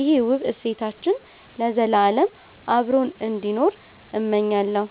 ይሄ ውብ እሴታችን ለዘላለም አብሮን እንዲኖር እመኛለሁ።